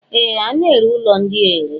Ee! A na-ere ụlọ ndị a ere.